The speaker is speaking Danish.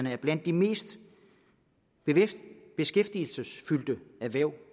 er blandt de mest beskæftigelsesfyldte erhverv